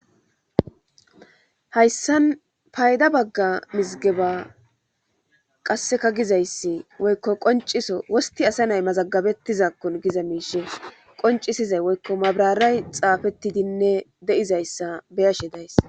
hayssan payda bagga mizigeba qasseka gizayssi woykko qonciso wosti asa nay mazagabettizakkon giza miishe qoncisizay woykko mabraray xaafettidinne de7izayssa beyashe days